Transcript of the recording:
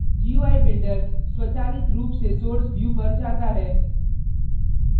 gui builder स्वचालित रुप से source view पर जाता है